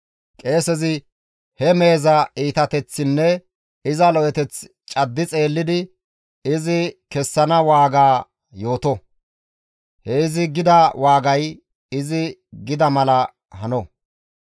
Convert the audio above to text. Qeesezi he meheza iitateththinne iza lo7eteth caddi xeellidi izi kessana waaga yooto; he izi gida waagay izi gida mala hano.